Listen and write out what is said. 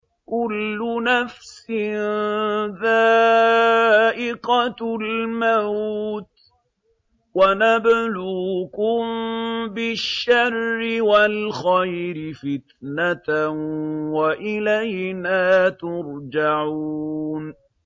كُلُّ نَفْسٍ ذَائِقَةُ الْمَوْتِ ۗ وَنَبْلُوكُم بِالشَّرِّ وَالْخَيْرِ فِتْنَةً ۖ وَإِلَيْنَا تُرْجَعُونَ